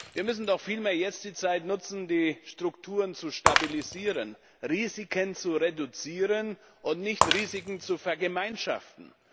Wir müssen doch vielmehr jetzt die Zeit nutzen, die Strukturen zu stabilisieren, Risiken zu reduzieren und nicht Risiken zu vergemeinschaften.